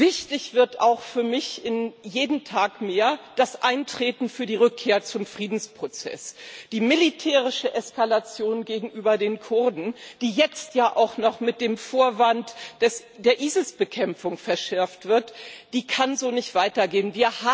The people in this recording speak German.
Wichtig wird auch für mich jeden Tag mehr das Eintreten für die Rückkehr zum Friedensprozess. Die militärische Eskalation gegenüber den Kurden, die jetzt ja auch noch unter dem Vorwand der ISIS Bekämpfung verschärft wird, kann so nicht weitergehen.